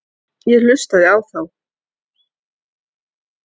Ég hlustaði á þá.